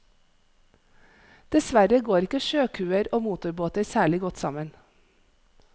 Dessverre går ikke sjøkuer og motorbåter særlig godt sammen.